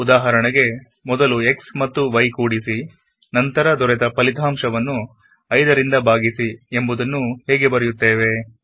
ಉದಾಹರಣೆಗೆಮೊದಲು x ಮತ್ತು y ನ್ನು ಕೂಡಿಸಿನಂತರ ದೊರೆತ ಫಲಿತಾಂಶವನ್ನು 5ರಿಂದ ಭಾಗಿಸಿ ಎಂಬುದನ್ನು ಹೇಗೆ ಬರೆಯುತ್ತೇವೆ